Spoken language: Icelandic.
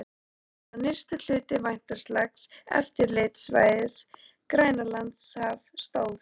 Verra var, að nyrsti hluti væntanlegs eftirlitssvæðis, Grænlandshaf, stóð